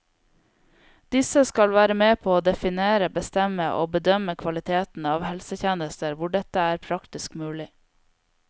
Disse skal være med på å definere, bestemme og bedømme kvaliteten av helsetjenester hvor dette er praktisk mulig.